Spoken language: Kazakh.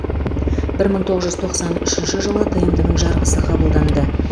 бір мың тоғыз жүз тоқсан үшінші жылы тмд ның жарғысы қабылданды